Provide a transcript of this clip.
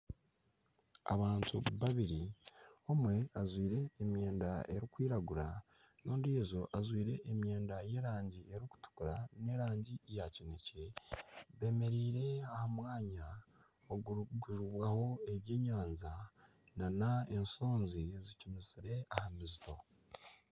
Abantu babiri omwe ajwaire emyenda erikwiragura n'ondijo ajwaire emyenda y'erangi erikutukura n'erangi ya kinekye bemereire aha mwanya ogurikuguzibwaho ebyenyanja n'ensonzi zicumitsire aha misito.